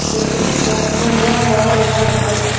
benaye potay morning work gora gley gom obow iyot.